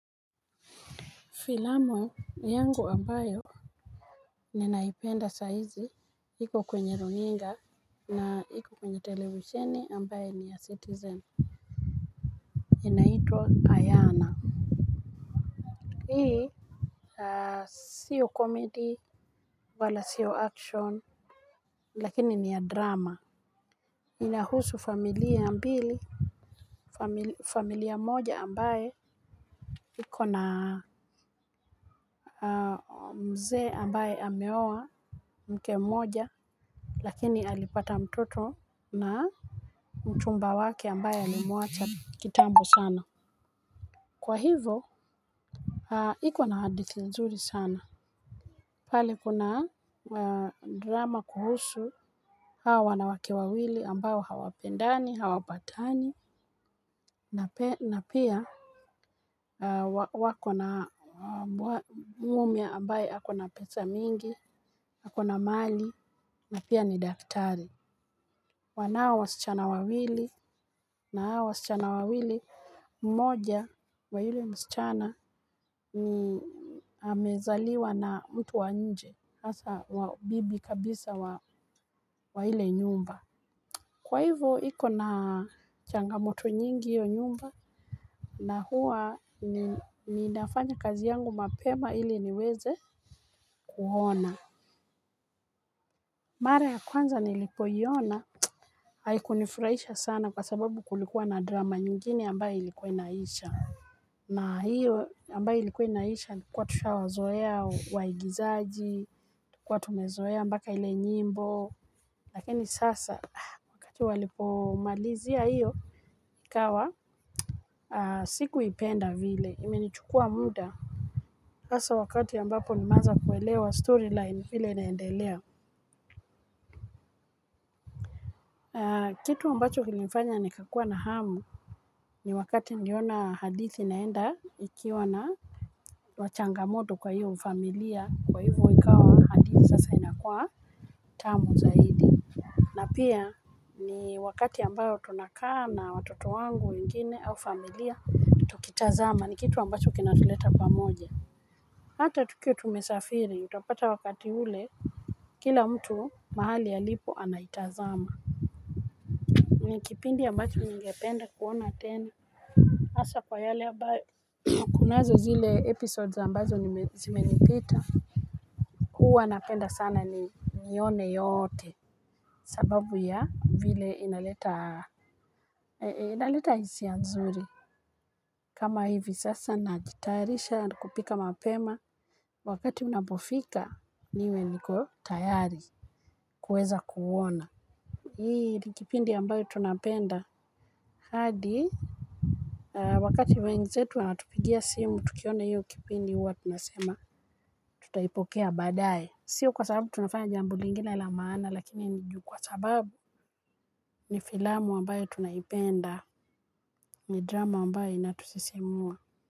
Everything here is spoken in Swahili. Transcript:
Filamu yangu ambayo ninaipenda saizi ipo kwenye runinga na iko kwenye televisheni ambayo ni ya Citizen inaitwa Ayana. Hili sio komedi wala sio action lakini ni ya drama. Inahusu familia mbili, familia moja ambaye iko na mzee ambaye ameoa mke mmoja lakini alipata mtoto na mchumba wake ambaye alimuacha kitambo sana. Kwa hivo, iko na hadithi nzuri sana. Pale kuna drama kuhusu. Hawa wanawake wawili ambao hawapendani, hawapatani. Na pia wako na mume ambaye ako na pesa mingi, ako na mali, na pia ni daktari. Wanao wasichana wawili na hao wasichana wawili mmoja wa yule msichana amezaliwa na mtu wa nje asa wabibi kabisa wa hile nyumba. Kwa hivo iko na changamoto nyingi hiyo nyumba, na huwa ninafanya kazi yangu mapema ili niweze kuona. Mara ya kwanza nilipoiona haikunifurahisha sana kwa sababu kulikuwa na drama nyingine ambayo ilikuwa inaisha na hiyo ambayo ilikuwa inaisha likuwa tushawazoea waigizaji, kwa tumezoea mpaka ile nyimbo lakini sasa wakati walipomalizia hiyo kawa. Sikuipenda vile imenichukua muda, hasa wakati ambapo nimeanza kuelewa storyline vile inaendelea kitu ambacho kilinifanya nikakua na hamu ni wakati niliona hadithi inaenda ikiwa na wa changamoto kwa hio familia kwa hivo ikawa hadithi sasa inakua tamu zaidi na pia ni wakati ambao tunakaa na watoto wangu wengine au familia kitazama ni kitu ambacho kinatuleta pamoja hata tukiwa tumesafiri utapata wakati ule kila mtu mahali alipo anaitazama mwenye kipindi ambacho ningependa kuona tena hasa kwa yale ambayo kunazo zile episodes ambazo nime zimenipita hua napenda sana ni nione yoote sababu ya vile inaleta inaleta hisia nzuri kama hivi sasa najitayarisha na kupika mapema wakati unapofika niwe niko tayari kuweza kuona hii nikipindi ambayo tunapenda hadi wakati wenzetu wanatupigia simu tukiona hiyo kipindi huwa tunasema tutaipokea badaye sio kwa sababu tunafanya jambo lingine la maana lakini ni ju kwa sababu ni filamu ambayo tunaipenda ni drama ambayo inatusisimua.